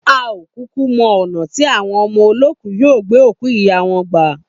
A ò kúkú mo̩ ò̩nà tí àwon o̩mo̩lóòkú yóò gbé òkú ìyá wo̩n gbà.